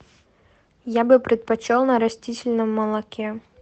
я бы предпочел на растительном молоке